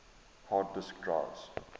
hard disk drives